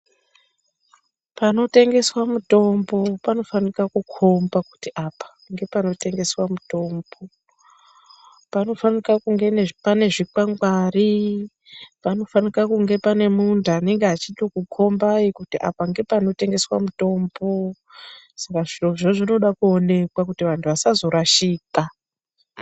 Panotengeswa mutombo panofanika kukomba kuti apa ngepanotengeswa mutombo. Panofanika kunge pane zvikwangwari, panofanika kunge pane muntu anenge achitokukombai kuti apa ngepanotengeswa mutombo. Saka zvirozvo zvinoda kuonekwa kuti antu asazorashikwa.